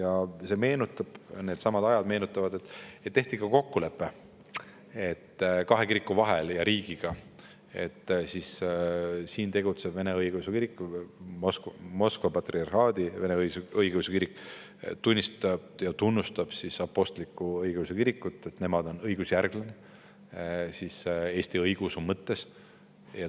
Aga see aeg, mida te mainisite – ma meenutan kõigile –, kahe kiriku ja riigi vahel sõlmiti kokkulepe, et siin tegutsev Vene Õigeusu Kirik, õigemini Moskva Patriarhaadi Õigeusu Kirik tunnistab ja tunnustab Apostlik-Õigeusu Kirikut, kes on õigusjärglane Eesti õigeusu mõttes.